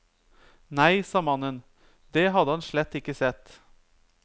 Nei, sa mannen, det hadde han slett ikke sett.